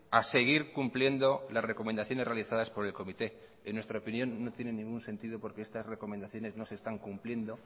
a seguir cumpliendo las recomendaciones realizadas por el comité en nuestra opinión no tiene ningún sentido porque estas recomendaciones no se están cumpliendo